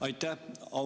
Aitäh!